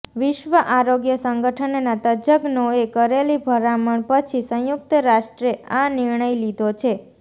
વિશ્વ આરોગ્ય સંગઠનના તજ્જ્ઞાોએ કરેલી ભલામણ પછી સંયુક્ત રાષ્ટ્રે આ નિર્ણય લીધો છે